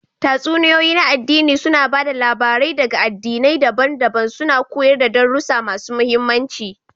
Tatsuniyoyi na aɗdini suna ba da labarai ɗaga aɗdinai daban-daban, suna koyar da darussa masu mahimmanci.